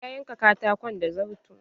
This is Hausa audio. Na yanka katakon da zarto.